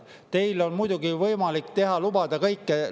Teil on muidugi võimalik lubada kõike.